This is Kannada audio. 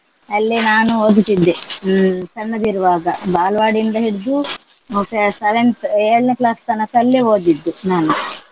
ಅಲ್ಲೇ ನಾನು ಓದುತಿದ್ದೆ. ಹ್ಮ್ ಸಣ್ಣದಿರುವಾಗ ಬಲ್ವಾಡಿಯಿಂದ ಹಿಡ್ದು ಮತ್ತೆ seventh ಏಳನೆ class ತನಕ ಅಲ್ಲೇ ಓದಿದ್ದು ನಾನು.